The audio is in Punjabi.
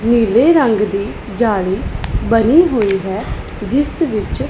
ਨੀਲੇ ਰੰਗ ਦੀ ਜਾਲੀ ਬਨੀ ਹੋਈ ਹੈ ਜਿੱਸ ਵਿੱਚ--